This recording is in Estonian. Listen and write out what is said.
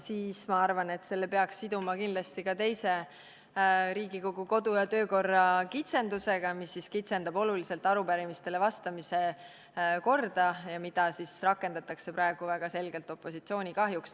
Siis, ma arvan, peaks selle siduma kindlasti ka teise Riigikogu kodu- ja töökorra kitsendusega, mis kitsendab oluliselt arupärimistele vastamise korda ja mida rakendatakse praegu väga selgelt opositsiooni kahjuks.